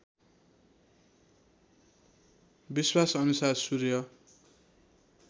विश्वास अनुसार सूर्य